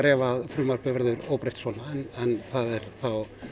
ef frumvarpið verður óbreytt svona en það er þá